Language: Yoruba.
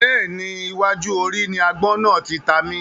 Bẹ́ẹ̀ni, iwájú orí ni àgbọ̀n náà tí ta mi